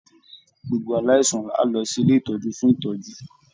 Gbogbo aláìsàn á lọ sí ilé ìtọ́jú fún ìtọ́jú